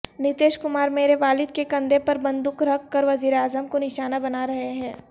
نتیش کمار میرے والد کے کندھے پر بندوق رکھ کر وزیراعظم کو نشانہ بنارہے ہیں